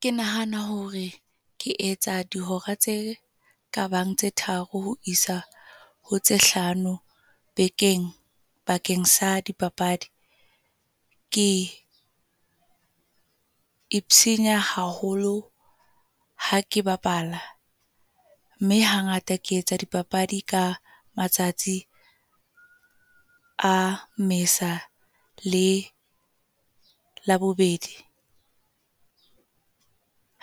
Ke nahana hore ke etsa dihora tse kabang tse tharo ho isa ho tse hlano bekeng, bakeng sa dipapadi. Ke haholo ha ke bapala. Mme ha ngata ke etsa dipapadi ka matsatsi a Mmesa le Labobedi.